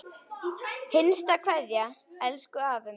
HINSTA KVEÐJA Elsku afi minn.